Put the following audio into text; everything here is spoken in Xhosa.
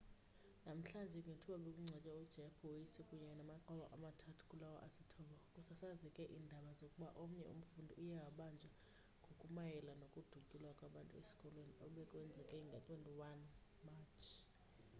namhlanje ngethuba bekungcwatywa ujeff weise kunye namaxhoba amathathu kulawo asithoba kusasazeke iindaba zokuba omnye umfundi uye wabanjwa ngokumayela nokudutyulwa kwabantu esikolweni obekwenzeke nge-21 matshi